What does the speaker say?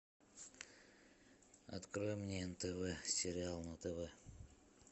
открой мне нтв сериал на тв